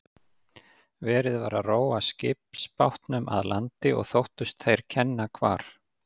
Verið var að róa skipsbátnum að landi og þóttust þeir kenna hvar